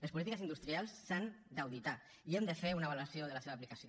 les polítiques industrials s’han d’auditar i hem de fer una valoració de la seva aplicació